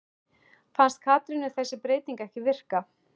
Fannst Katrínu þessi breyting ekki virka?